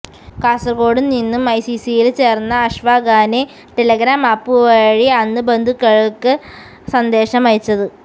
കാസര്കോട് നിന്നും ഐസിസില് ചേര്ന്ന അഷ്ഫാഖാണ് ടെലഗ്രാം ആപ്പ് വഴി അന്ന് ബന്ധുക്കള്ക്ക് സന്ദേശമയച്ചത്